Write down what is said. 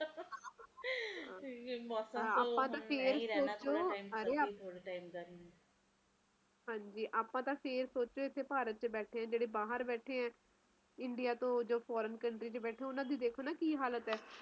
ਅੱਪਾ ਤਾ ਫੇਰ ਸੋਚੋ ਅਰੇ ਆਪਾ ਤੇ ਫਿਰ ਸੋਚੋ ਆਪਾਤੇ ਫਿਰ ਸੋਚੋ ਇਥੇ ਭਾਰਤ ਚ ਬੈਠੇ ਆ ਜਿਹੜੇ ਬਾਹਰ ਬੈਠੇ ਆ ਇੰਡੀਆ ਤੋਂ ਜਿਹੜੇ foreign country ਵਿਚ ਬੈਠੇ ਆ ਓਹਨਾ ਦੇ ਦੇਖੋ ਕੀ ਹਾਲਾਤ ਐ